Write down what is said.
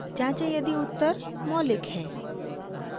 जाँचें यदि उत्तर मौलिक है